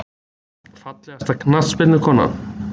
Fallegasta knattspyrnukonan??